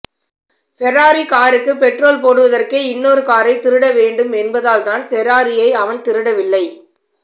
Ferrari காருக்கு petrol போடுவதற்கே இன்னொரு காரை திருட வேண்டும் என்பதால் தான் ஃபெராரியை அவன் திருட வில்லை